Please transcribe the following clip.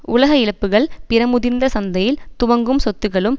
உலக இழப்புக்கள் பிற முதிர்ந்த சந்தையில் துவங்கும் சொத்துக்களும்